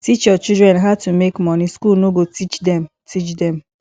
teach your children how to make money school no go teach them teach them